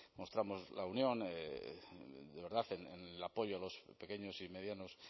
mostramos la unión de verdad el apoyo a los pequeños y medianos